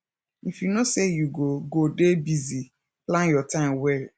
if you know sey you go go dey busy plan your time well